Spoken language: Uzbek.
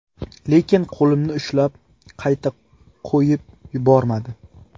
Lekin qo‘limni ushlab, qayta qo‘yib yubormadi.